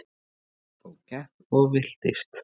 Ég gekk og gekk og villtist.